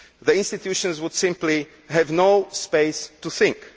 The institutions would simply have no space to think.